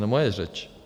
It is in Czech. - No moje řeč.